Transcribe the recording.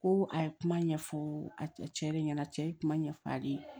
Ko a ye kuma ɲɛfɔ a cɛ de ɲɛna cɛ ye kuma ɲɛfɔ ale ye